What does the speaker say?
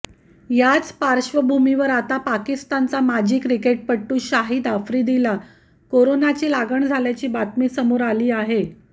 याच पार्श्वभूमीवर आता पाकिस्तानचा माजी क्रिकेटपटू शाहिद आफ्रिदीला कोरोनाची लागण झाल्याची बातमी समोर आली आहे